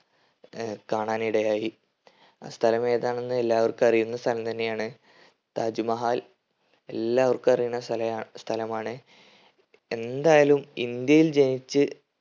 ഏർ കാണാനിടയായി ആ സ്ഥലം ഏതാണെന്ന് എല്ലാവർക്കും അറിയുന്ന സ്ഥലം തന്നെയാണ് താജ് മഹാൽ എല്ലാവർക്കും അറിയുന്ന സ്ഥല സ്ഥലമാണ് എന്തായാലും ഇന്ത്യയിൽ ജനിച്ച്